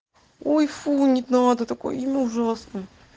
ой фу не надо такой инна ужасно